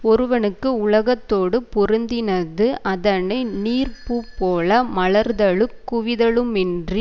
ஒருவனுக்கு உலகத்தோடு பொருந்தினது அதனை நீர் பூ போல மலர்தலுங் குவிதலுமின்றி